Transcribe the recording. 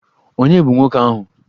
Ònye bụ nwoke ahụ?